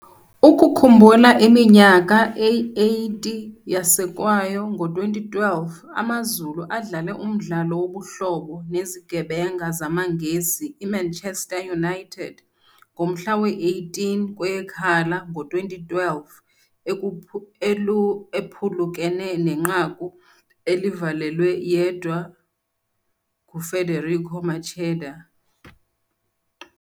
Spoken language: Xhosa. Ukukhumbula iminyaka eyi-80 yasekwayo ngo-2012 AmaZulu adlale umdlalo wobuhlobo nezigebenga zamaNgesi iManchester United ngomhla we-18 kweyeKhala ngo-2012 ephulukene nenqaku elivalelwe yedwa nguFederico Macheda.